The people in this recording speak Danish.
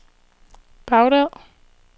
Baghdad